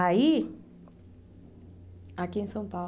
Aí... Aqui em São Paulo.